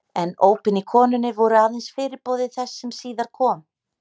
En ópin í konunni voru aðeins fyrirboði þess sem síðar kom.